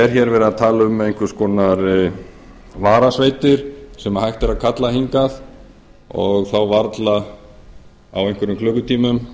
er hér verið að tala um einhvers konar varasveitir sem hægt er að kalla hingað og þá varla á einhverjum klukkutímum